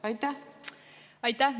Aitäh!